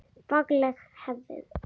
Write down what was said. Fagleg hegðun.